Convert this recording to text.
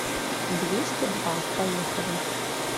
двести два поехали